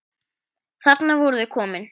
Þarna voru þau komin.